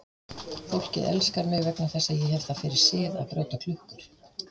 Fólkið elskar mig vegna þess að ég hef það fyrir sið að brjóta klukkur.